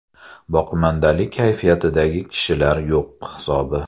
Boqimandalik kayfiyatidagi kishilar yo‘q hisobi.